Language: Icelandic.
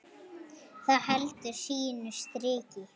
Það heldur sínu striki.